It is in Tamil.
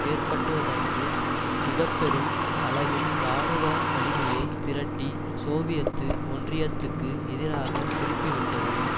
ஏற்பட்டுவதற்கு மிக பெரும் அளவில் இராணுவ வலிமையை திரட்டி சோவியத்து ஒன்றியத்துக்கு எதிராக திருப்பிவிட்டது